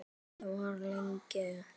Ekki var það lengi gert.